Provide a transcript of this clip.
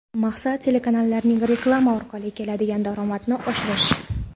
Maqsad – telekanallarning reklama orqali keladigan daromadini oshirish.